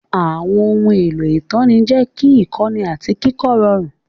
Àwọn ohun èlò ìtọ́ni jẹ́ kí ìkọ́ni àti kíkọ́ rọrùn.